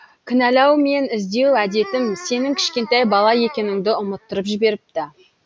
кнәлаумен іздеу әдетім сенің кішкентай бала екеніңді ұмыттырып жіберіпті